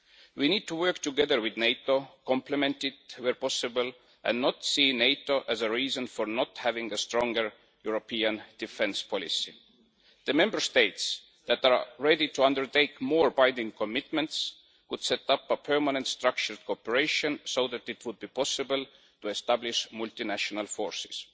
We need to work together with NATO, complement it where possible, and not see NATO as a reason for not having a stronger European defence policy. The Member States that are ready to undertake more binding commitments would set up a permanent structured cooperation so that it would be possible to establish multinational forces.